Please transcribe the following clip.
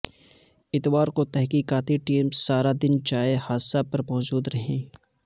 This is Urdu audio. اتوار کو تحقیقاتی ٹیمیں سارا دن جائے حادثہ پر موجود رہیں